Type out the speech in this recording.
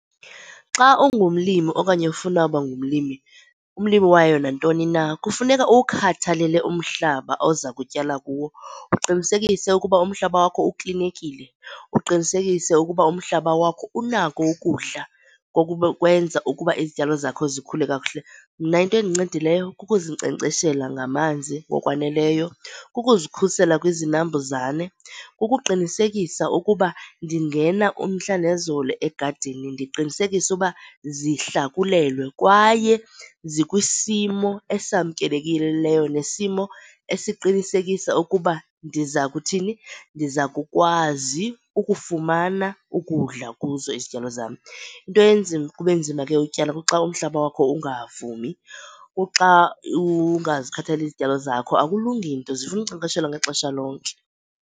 Xa ungumlimi okanye ufuna uba ngumlimi umlimi wayo nantoni na kufuneka uwukhathalele umhlaba oza kutyala kuwo uqinisekise ukuba umhlaba wakho uklinekile, uqinisekise ukuba umhlaba wakho unako ukudla ukwenza ukuba izityalo zakho zikhule kakuhle. Mna into endincedileyo kukuzinkcenkceshela ngamanzi ngokwaneleyo, kukuzikhusela kwizinambuzane, kukuqinisekisa ukuba ndingena umhla nezolo egadini, ndiqinisekise uba zihlakulelwe kwaye zikwisimo esamkelekileyo nesimo esiqinisekisa ukuba ndiza kuthini, ndiza kukwazi ukufumana ukudla kuzo izityalo zam. Into enzima, kube nzima ke utyala kuxa umhlaba wakho ungavumi, kuxa ungazikhathaleli izityalo zakho, akulungi nto zifuna ukunkcenkceshelwa ngexesha lonke.